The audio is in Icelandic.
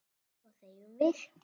Svo þegjum við.